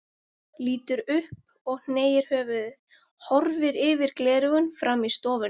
Lítur upp og hneigir höfuðið, horfir yfir gleraugun fram í stofuna.